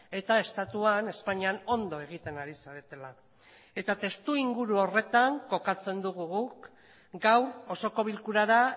eta estatuan espainian ondo egiten ari zaretela eta testuinguru horretan kokatzen dugu guk gaur osoko bilkurara